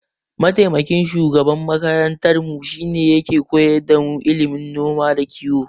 Mataimakin shugaban makarantarmu shine yake koyar damu ilimin noma da kiyo.